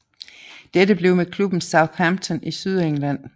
Dette blev med klubben Southampton i Sydengland